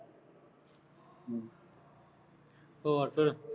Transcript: ਹੋਰ ਫੇਰ